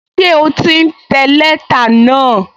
Ṣé o ti ń tẹ lẹ́tà náà?